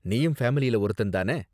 நீயும் ஃபேமிலில ஒருத்தன் தான?